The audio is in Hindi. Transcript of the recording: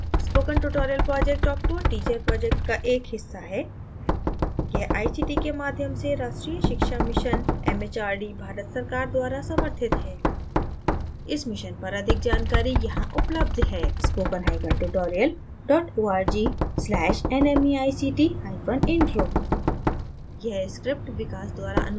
spoken tutorial project talk to a teacher project का एक हिस्सा है यह आईसीटी के माध्यम से राष्ट्रीय शिक्षा mission एमएचआरडी भारत सरकार द्वारा समर्थित है इस mission पर अधिक जानकारी यहां उपलब्ध है: